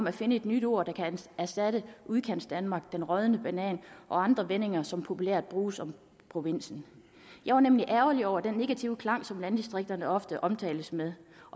at finde et nyt ord der kan erstatte udkantsdanmark den rådne banan og andre vendinger som populært bruges om provinsen jeg var nemlig ærgerlig over den negative klang som landdistrikterne ofte omtales med